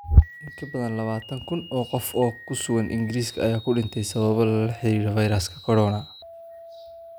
In ka badan lawatan kun oo qof oo ku sugan Ingiriiska ayaa u dhintay sababo la xiriira fayraska corona.